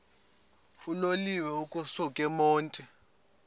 uloliwe ukusuk emontini